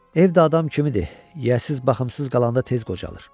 Ev də adam kimidir, yiyəsiz, baxımsız qalanda tez qocalar.